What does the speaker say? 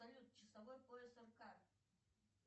салют часовой пояс рк